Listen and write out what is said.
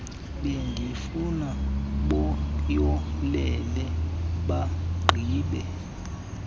bendifuna bayolele bagqibe